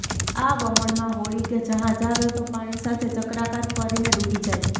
આ વમળમાં હોડી કે જહાજ આવે તો પાણી સાથે ચક્રાકાર ફરીને ડૂબી જાય